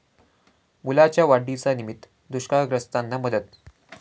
मुलाच्या वाढदिवसानिमित्त दुष्काळग्रस्तांना मदत